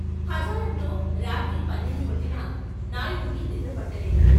హజారంలో రాత్రి పన్నెండు కొట్టినా నాయుడికి నిద్రపట్టలేదు.